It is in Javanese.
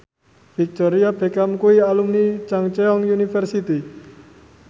Victoria Beckham kuwi alumni Chungceong University